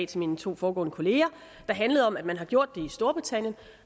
til mine to foregående kolleger der handlede om at man har gjort det i storbritannien